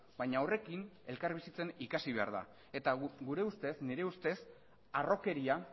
baina horrekin elkarbizitzen ikasi behar da eta gure ustez nire ustez harrokeria